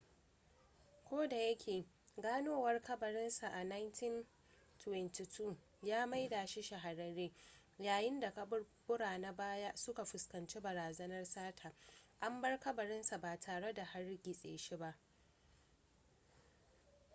ko da yake ganowar kabarin sa a 1922 ya maida shi shahararre yayin da kaburbura na baya suka fuskanci barazanan sata an bar kabarin sa ba tare da hargitse shi ba